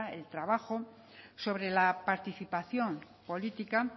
el trabajo sobre la participación política